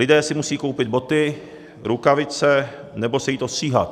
Lidé si musí koupit boty, rukavice nebo se jít ostříhat.